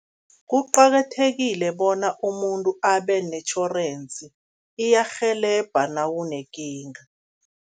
Kuqakathekile bona umuntu abe netjhorensi, iyarhelebha nawunekinga.